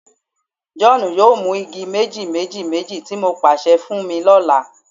John, mu igi meji-meji-meji ti mo paṣẹ fun mi ni ọla